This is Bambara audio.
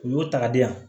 U y'o ta ka di yan